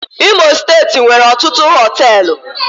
Imo steeti nwere ọtụtụ Họtelu